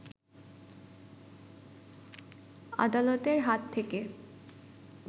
আদালতের হাত থেকে